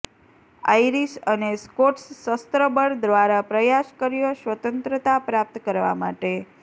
Irish અને Scots શસ્ત્ર બળ દ્વારા પ્રયાસ કર્યો સ્વતંત્રતા પ્રાપ્ત કરવા માટે